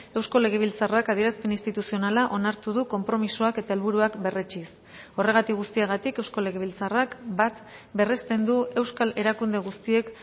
eusko legebiltzarrak adierazpen instituzionala onartu du konpromisoak eta helburuak berretsiz horregatik guztiagatik eusko legebiltzarrak bat berresten du euskal erakunde guztiek